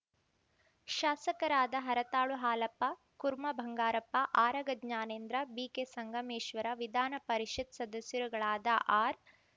ಶಾಸಕರಾದ ಹರತಾಳು ಹಾಲಪ್ಪ ಕುರ್ಮಾ ಬಂಗಾರಪ್ಪ ಆರಗ ಜ್ಞಾನೇಂದ್ರ ಬಿಕೆ ಸಂಗಮೇಶ್ವರ ವಿಧಾನ ಪರಿಷತ್‌ ಸದಸ್ಯರುಗಳಾದ ಆರ್‌